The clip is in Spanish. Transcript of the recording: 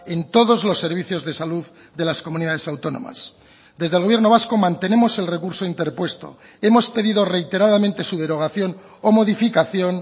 en todos los servicios de salud de las comunidades autónomas desde el gobierno vasco mantenemos el recurso interpuesto hemos pedido reiteradamente su derogación o modificación